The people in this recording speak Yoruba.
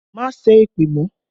Má sẹ́ èpè mọ́!